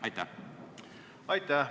Aitäh!